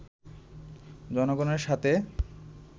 জনগণের সাথে